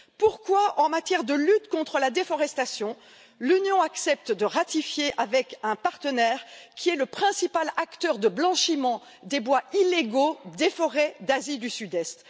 Pourquoi en matière de lutte contre la déforestation, l'Union accepte t elle de ratifier un accord avec un partenaire qui est le principal acteur du blanchiment des bois illégaux des forêts d'Asie du Sud Est?